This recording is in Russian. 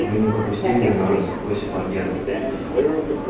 вы не пропустили нас сквозь барьер